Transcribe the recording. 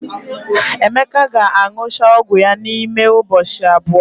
Emeka ga-aṅụcha ọgwụ ya n'ime ụbọchị abụọ.